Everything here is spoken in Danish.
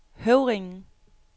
Høvringen